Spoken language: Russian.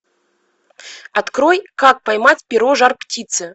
открой как поймать перо жар птицы